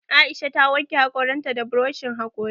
Aisha ta wanke haƙoran ta da buroshin haƙori